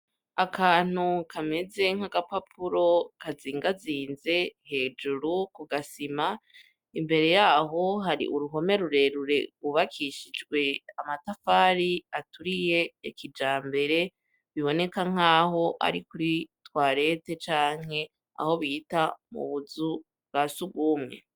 Akantu kameze nk'agapapuro kazingazinze hejuru ku gasima imbere yaho hari uruhome rurerure bubakishijwe amatafari aturiye yakija mbere biboneka nk'aho ari kuri twa rete canke aho bita mu buzu ba si ugomwe.